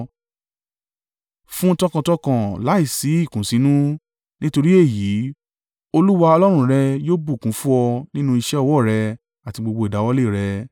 Fún un tọkàntọkàn, láìsí ìkùnsínú, nítorí èyí, Olúwa Ọlọ́run rẹ yóò bùkún fún ọ nínú iṣẹ́ ọwọ́ rẹ, àti gbogbo ìdáwọ́lé rẹ.